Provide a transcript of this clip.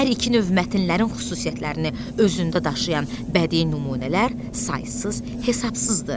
Hər iki növ mətnlərin xüsusiyyətlərini özündə daşıyan bədii nümunələr saysız-hesabsızdır.